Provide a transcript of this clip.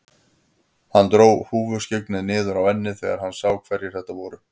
Hann dró húfuskyggnið niður á ennið þegar hann sá hverjir þetta voru.